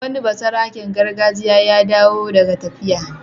Wani basaraken gargajiya ya dawo daga tafiya.